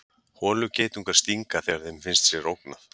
holugeitungar stinga þegar þeim finnst sér ógnað